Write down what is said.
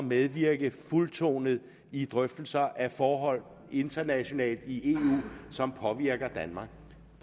medvirke fuldtonet i drøftelser af forhold internationalt i eu som påvirker danmark